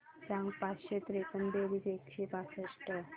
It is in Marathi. सांग पाचशे त्रेपन्न बेरीज एकशे पासष्ट